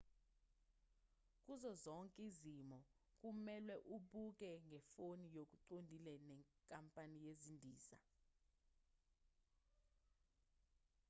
kuzo zonke izimo kumelwe ubhukhe ngefoni ngokuqondile nenkampani yezindiza